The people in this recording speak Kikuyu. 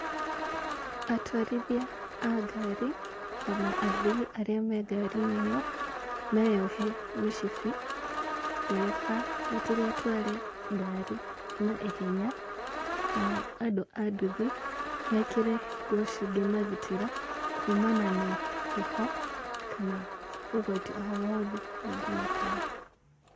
Atwarithia a ngari, ona athii arĩa mengari-inĩ ĩyo, meyohe mĩcibi, ndereba matigatware ngari na ihenya, nao andũ a nduthi mekĩre nguo cingĩmagitĩra kumana na heho, kana ũgwati o wothe ũngĩmakora.